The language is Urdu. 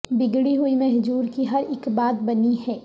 بگڑی ہوئی مہجور کی ہر اک بات بنی ہے